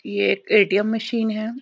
ये एक ATM machine है |